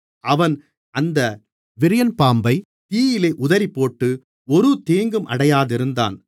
அவன் அந்த விரியன் பாம்பை தீயிலே உதறிப்போட்டு ஒரு தீங்கும் அடையாதிருந்தான்